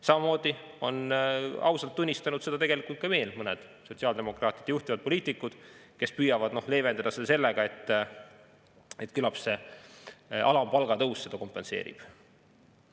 Samamoodi on seda ausalt tunnistanud veel mõned sotsiaaldemokraatide juhtivad poliitikud, kes püüavad leevendada seda sellega, et küllap see alampalga tõus seda kompenseerib.